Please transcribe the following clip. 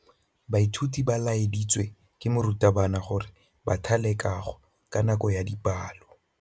Baithuti ba laeditswe ke morutabana gore ba thale kagô ka nako ya dipalô.